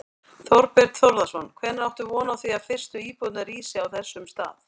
Þorbjörn Þórðarson: Hvenær áttu von á því að fyrstu íbúðir rísi á þessum stað?